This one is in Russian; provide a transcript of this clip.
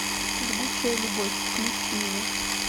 жгучая любовь включи мне